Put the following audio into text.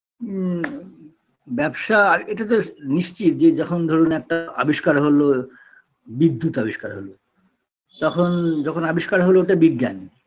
হুম ব্যবসা এটাতো নিশ্চিত যে যখন ধরুন একটা আবিষ্কার হলো বিদ্যুৎ আবিষ্কার হলো তখন যখন আবিষ্কার হলো এটা বিজ্ঞান